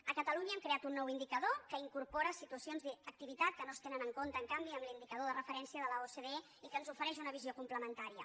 a catalunya hem creat un nou indicador que incorpora situacions d’activitat que no es tenen en compte en canvi en l’indicador de referència de l’ocde i que ens ofereix una visió complementària